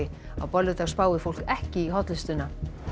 á bolludag spái fólk ekki í hollustuna